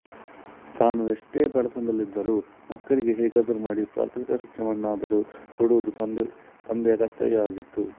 ತಾನು ಎಷ್ಟೇ ಬಡತನದಲ್ಲಿದ್ದರೂ ಮಕ್ಕಳಿಗೆ ಹೇಗಾದರೂ ಮಾಡಿ ಪ್ರಾಥಮಿಕ ಶಿಕ್ಷಣವನ್ನಾದರೂ ಕೊಡುವುದು ತಂದೆಯ ಕರ್ತವ್ಯವಾಗಿತ್ತು